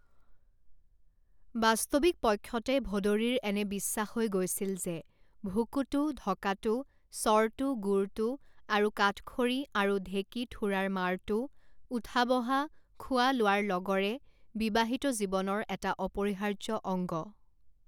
বাস্তবিক পক্ষতে ভদৰীৰ এনে বিশ্বাস হৈ গৈছিল যে ভুকুটো ঢকাটো চৰতো গোৰটো আৰু কাঠখৰি আৰু ঢেকীঠোৰাৰ মাৰটো, উঠা বহা, খোৱা লোৱাৰ লগৰে বিবাহিত জীৱনৰ এটা অপৰিহাৰ্য্য অংগ!